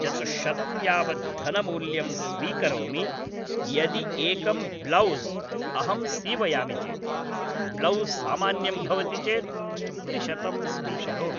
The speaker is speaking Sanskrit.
चतुश्शतं यावद् धनमूल्यं स्वीकरोमि यदि एकम् ब्लौस् अहं सीवयामि चेत्, ब्लौस् सामान्यं भवति चेत् त्रिशतं स्वीकरोमि